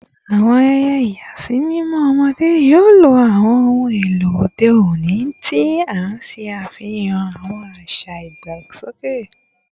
Awọn ayẹyẹ ìyàsímímọ ọmọde yoo lo awọn ohun elo ode oni ti n ṣe afihan awọn aṣa idagbasoke